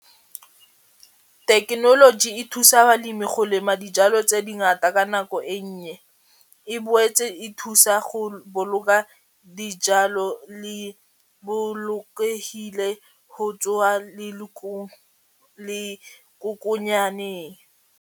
Tekenoloji e thusa balemi go lema dijalo tse dingata ka nako e nnye e boetse e thusa go boloka dijalo le bolokehile go tswa le .